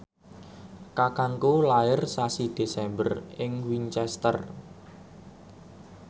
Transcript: kakangku lair sasi Desember ing Winchester